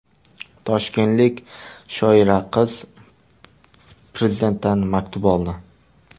Toshkentlik shoira qiz Prezidentdan maktub oldi.